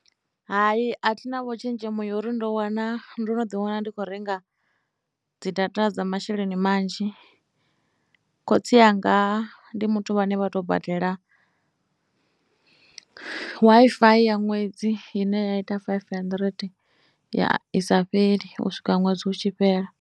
Hai a thi navho tshenzhemo ya uri ndo wana, ndo no ḓiwana ndi kho renga dzi data dza masheleni manzhi khotsi anga ndi muthu vhane vha tou badela Wi-Fi ya ṅwedzi ine ya ita faifi handirete, ya i sa fheli u swika ṅwedzi u tshi fhela.